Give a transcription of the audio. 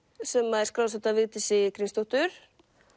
sem er skrásett af Vigdísi Grímsdóttur